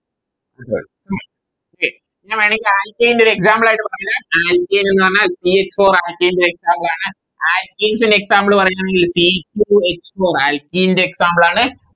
Okay ഇങ്ങനാണെങ്കിൽ Alkane ൻറെ ഒര് Example ആയിട്ട് പറഞ്ഞേരാം Alkane എന്ന് പറഞ്ഞ C four alkane ൻറെ Example ആണ് Alkanes ൻറെ Example പറഞ്ഞ C two h four ൻറെ alkene ന്റെ Example ആണ്